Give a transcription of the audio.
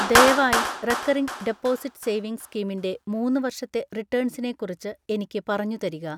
ദയവായി recurring deposit savings സ്കീമിൻ്റെ മൂന്ന് വർഷത്തെ റിട്ടേൺസിനെ കുറിച്ച് എനിക്ക് പറഞ്ഞുതരിക